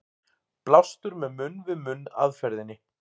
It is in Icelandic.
Blástur með munn-við-munn aðferðinni.